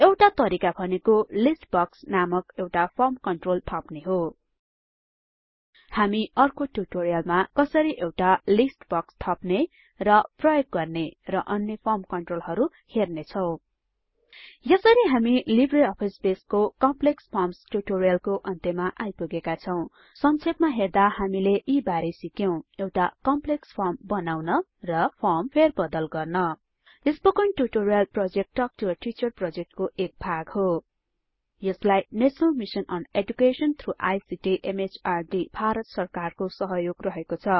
एउटा तरिका भनेको लिस्ट बक्स नामक एउटा फर्म कन्ट्रोल थप्ने हो हामी अर्को टूटोरियलमा कसरी एउटा लिस्ट बक्स थप्ने र प्रयोग गर्ने र अन्य फर्म कन्ट्रोलहरु हेर्नेछौं यसरी हामी लिब्रे अफिस बेसको कम्प्लेक्स Formsट्युटोरियलको अन्त्यमा आइपुगेका छौं संक्षेपमा हेर्दा हामी यी बारे सिक्यौं एउटा कम्प्लेक्स फर्म बनाउन र फर्म फेरबदल गर्न spoken tutorial project talk to a teacher प्रोजेक्टको एक भाग हो यसलाई national mission on education through ICT MHRD Bharat सरकारको सहयोग रहेको छ